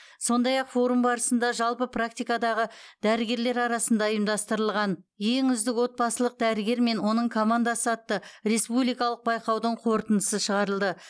сондай ақ форум барысында жалпы практикадағы дәрігерлер арасында ұйымдастырылған ең үздік отбасылық дәрігер мен оның командасы атты республикалық байқаудың қорытындысы шығарылды